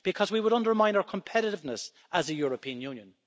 Because we would undermine our competitiveness as a European Union.